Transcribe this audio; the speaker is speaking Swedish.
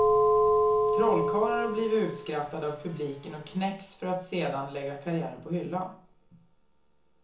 Trollkarlar har blivit utskrattade av publiken och knäckts för att sedan lägga karriären på hyllan.